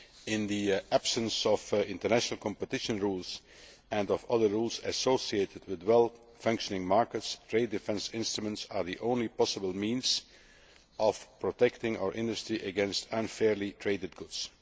In the absence of international competition rules and other rules associated with properly functioning markets, trade defence instruments are the only possible means of protecting our industry against unfairly traded goods.